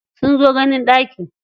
Sun zo ganin ɗaki.